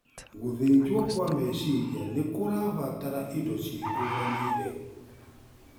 Gũthĩnjwo kwa meciria nĩkũrabatara indo ciĩkũranĩire